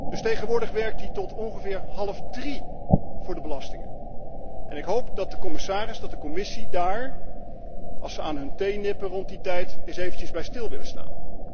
Dus tegenwoordig werkt hij tot ongeveer half drie voor de belastingen, en ik hoop dat de commissaris, dat de Commissie, als ze aan hun thee nippen rond die tijd, eens eventjes daarbij stil willen staan.